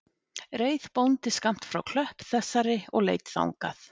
Reið bóndi skammt frá klöpp þessari og leit þangað